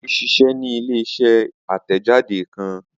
Ade ṣiṣẹ ni ile-iṣẹ atẹjade kan